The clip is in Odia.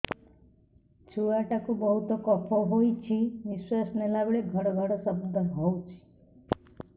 ଛୁଆ ଟା କୁ ବହୁତ କଫ ହୋଇଛି ନିଶ୍ୱାସ ନେଲା ବେଳେ ଘଡ ଘଡ ଶବ୍ଦ ହଉଛି